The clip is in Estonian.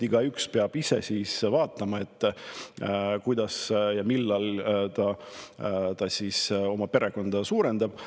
Igaüks peab ikka ise vaatama, kuidas ja millal ta oma perekonda suurendab.